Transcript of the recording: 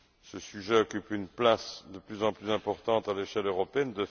Ce sujet occupe une place de plus en plus importante à l'échelle européenne.